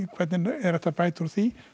hvernig er hægt að bæta úr því